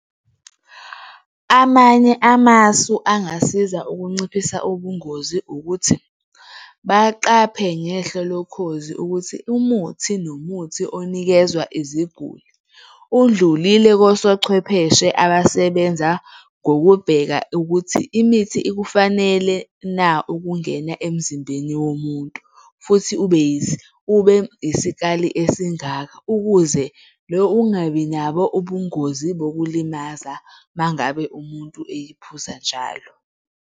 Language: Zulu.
Amanye amasu angasiza ukunciphisa ubungozi ukuthi baqaphe ngehlo lokhozi ukuthi umuthi nomuthi onikezwa iziguli, udlulile kosochwepheshe abasebenza ngokubheka ukuthi imithi ikufanele na ukungena emzimbeni womuntu? Futhi ube ube isikali esingaka ukuze lo ungabi nabo ubungozi bokulimaza uma ngabe umuntu eyiphuza njalo.